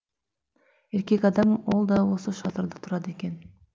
еркек адам ол да осы шатырда тұрады екен